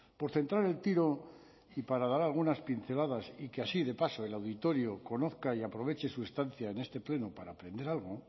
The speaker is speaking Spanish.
por centrar el tiro y para dar algunas pinceladas y que así de paso el auditorio conozca y aproveche su estancia en este pleno para aprender algo